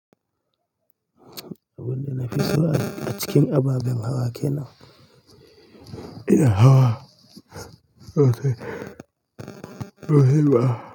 Abin da nafii so a cikin ababen hawa kena, ina hawa rufe, mashin ba.